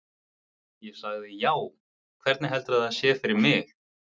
Ég sagði: Já, hvernig heldurðu að það sé fyrir mig?